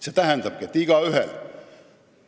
" See tähendabki, et see õigus on igaühel.